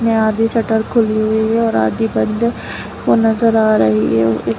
आधी शटर खुली हुई है और अधि बंद है ओ नजर आ रही है।